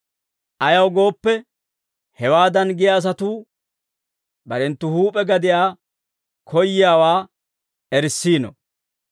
Ayaw gooppe, hewaadan giyaa asatuu barenttu huup'e gadiyaa koyiyaawaa erissiino.